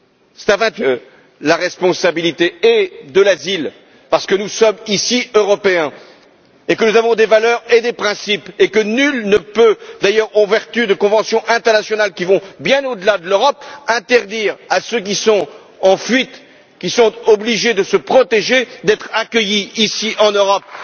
C'est à vingt huit que nous avons pris la responsabilité de l'asile, parce que nous sommes Européens et que nous avons des valeurs et des principes, et que nul ne peut, d'ailleurs, en vertu de conventions internationales qui vont bien au delà de l'Europe, interdire à ceux qui sont en fuite, qui sont obligés de se protéger, d'être accueillis, ici, en Europe.